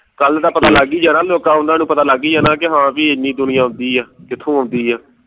ਕੱਲ ਤਾ ਪਤਾ ਲੱਗ ਈ ਜਾਣਾ ਲੋਕਾਂ ਉਨ੍ਹਾਂ ਨੂੰ ਪਤਾ ਲੱਗ ਈ ਜਾਣਾ ਕਿ ਹਾਂ ਬਈ ਏਨੀ ਦੁਨੀਆਂ ਆਉਦੀ ਐ ਕਿਥੋਂ ਆਉਂਦੀ ਐ